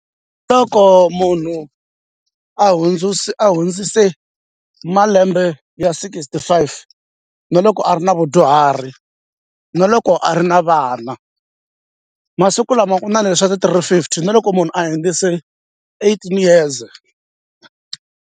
Loko munhu a a hundzise ka malembe ya sixty-five na loko a ri na vadyuhari na loko a ri na vana masiku lama ku na leswi swa ti-three fifty na loko munhu a hundzise eighteen years.